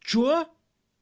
чё